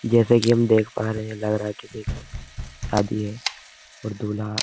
जैसा कि हम देख पा रहे हैं लग रहा है की ये सब शादी है और दूल्हा --